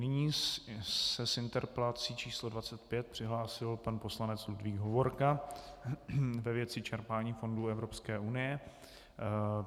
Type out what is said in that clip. Nyní se s interpelací číslo 25 přihlásil pan poslanec Ludvík Hovorka ve věci čerpání fondů Evropské unie.